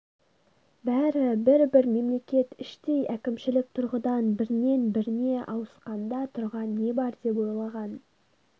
бәрі бір бір мемлекет іштей әкімшілік тұрғыдан бірінен біріне ауысқанда тұрған не бар деп ойлаған